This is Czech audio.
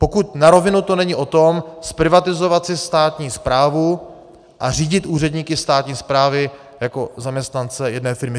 Pokud na rovinu to není o tom zprivatizovat si státní správu a řídit úředníky státní správy jako zaměstnance jedné firmy.